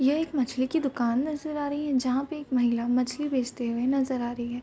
यह एक मछली की दुकान नजर आ रही है जहाँ पे एक महिला मछली बेचती हुई नजर आ रही है।